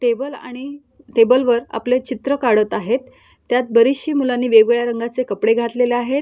Table आणि table वर आपले चित्र काढत आहेत. त्यात बरीचशी मुलांनी वेगवेगळ्या रंगाचे कपडे घातलेले आहेत.